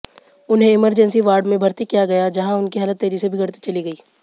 उन्हें emergency ward में भर्ती किया गया जहां उनकी हालत तेजी से बिगड़ती चली गई